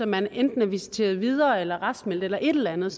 man enten er visiteret videre eller raskmeldt eller et eller andet